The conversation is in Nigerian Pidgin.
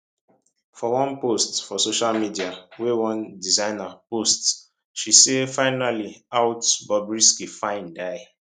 for one post for social media wey one designer post she say finally out bobrisky fine die